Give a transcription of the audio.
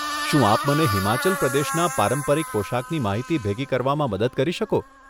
શું આપ મને હિમાચલ પ્રદેશના પારંપરિક પોશાકની માહિતી ભેગી કરવામાં મદદ કરી શકો?